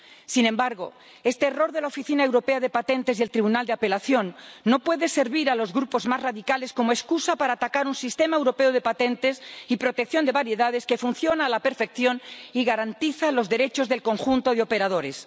Sin embargo, este error de la Oficina Europea de Patentes y del tribunal de apelación no puede servir a los grupos más radicales como excusa para atacar un sistema europeo de patentes y protección de variedades que funciona a la perfección y garantiza los derechos del conjunto de operadores.